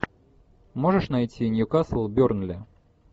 можешь найти ньюкасл бернли